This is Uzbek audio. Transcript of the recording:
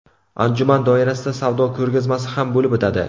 Anjuman doirasida savdo ko‘rgazmasi ham bo‘lib o‘tadi.